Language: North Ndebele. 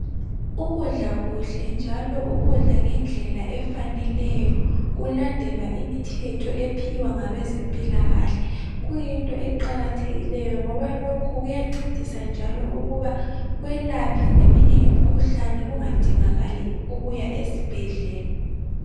Ukudla kuhle njalo ukudla ngendlela efaneleyo kulandelwa imithetho ephiwa ngabezempilakahle kuyinto eqakathekileyo ngoba lokhu kuyancedisa njalo ukuba kwelaphe eminye imikhuhlane kungadingakali ukuya esibhedlela.